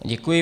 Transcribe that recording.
Děkuji.